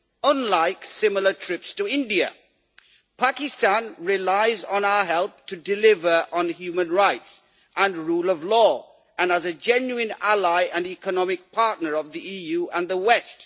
unlike similar trips to India. Pakistan relies on our help to deliver on human rights and the rule of law, as a genuine ally and economic partner of the EU and the West.